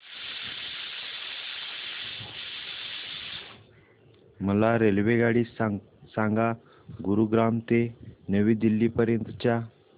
मला रेल्वेगाडी सांगा गुरुग्राम ते नवी दिल्ली पर्यंत च्या